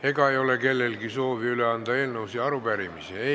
Ega ei ole kellelgi soovi üle anda eelnõusid ja arupärimisi?